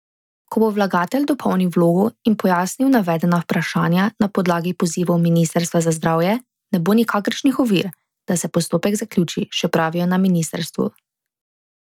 Ko bo vlagatelj dopolnil vlogo in pojasnil navedena vprašanja na podlagi pozivov ministrstva za zdravje, ne bo nikakršnih ovir, da se postopek zaključi, še pravijo na ministrstvu.